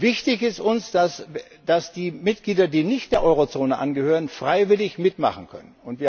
Wichtig ist uns, dass die Mitglieder, die nicht der Eurozone angehören, freiwillig mitmachen können.